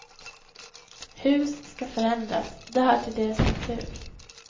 Hus skall förändras, det hör till deras natur.